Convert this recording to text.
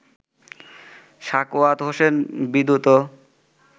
Sakhawat Hossain Bidyut